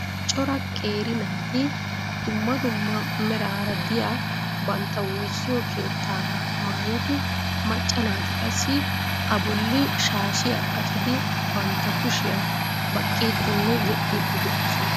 Cora qeeri naati dumma dumma meraara diya bantta woossiyo keetaagaa maayidi macca naati qassi a bolii shaashiya qacidi bantta kushiya baqqiidinne yexxidi de'oosona.